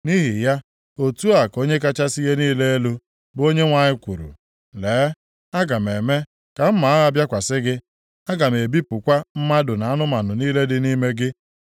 “ ‘Nʼihi ya, otu a ka Onye kachasị ihe niile elu, bụ Onyenwe anyị kwuru: Lee, aga m eme ka mma agha bịakwasị gị, aga m ebipụkwa mmadụ na anụmanụ niile dị nʼime gị.